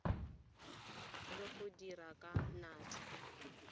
le go dira ka natla